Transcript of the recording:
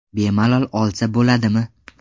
Bemalol olsa bo‘ladimi?